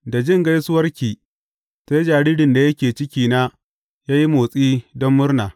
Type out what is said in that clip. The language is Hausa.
Da jin gaisuwarki, sai jaririn da yake cikina ya yi motsi don murna.